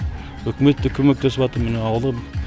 өкімет те көмектесіватыр міне ауылым